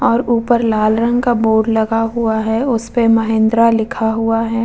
और ऊपर लाल रंग का बोर्ड लगा हुआ है उसपे महेंद्रा लिखा हुआ है ।